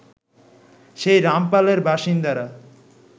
সেই রামপালের বাসিন্দারা